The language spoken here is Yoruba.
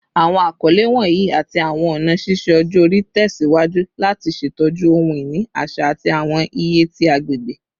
Awọn akọle wọnyi ati awọn ọna ṣiṣe ọjọ-ori tẹsiwaju lati ṣetọju ohun-ini aṣa ati awọn iye ti agbegbe